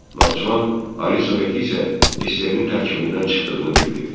Naxçıvan Ali Soveti isə SSR-nin tərkibindən çıxdığını bildirdi.